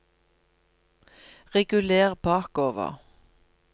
reguler bakover